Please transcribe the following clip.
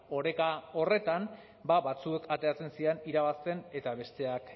oreka horretan ba batzuk ateratzen ziren irabazten eta besteak